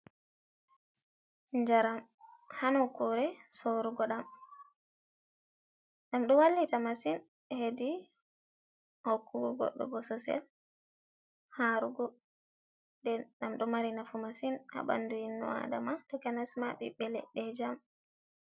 Njaram ha nukure soorugo ɗam. Ɗum ɗo wallita masin hedi hokkugo Goɗɗo bososel harugo. Ɗum ɗo mari nafu masin ha bandu ino Aadama. tokanasma bibbe leɗɗe jam.